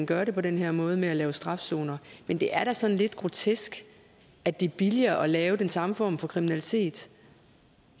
gøre det på den her måde med at lave strafzoner men det er da sådan lidt grotesk at det er billigere at lave den samme form for kriminalitet